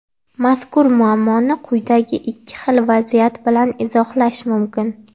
Mazkur muammoni quyidagi ikki xil vaziyat bilan izohlash mumkin.